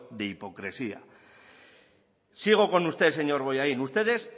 de hipocresía sigo con usted señor bollain ustedes